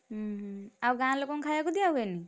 ହୁଁ ହୁଁ ଆଉ ଗାଁ ଲୋକଙ୍କୁ ଖାୟାକୁ ଦିଆ ହୁଏନି?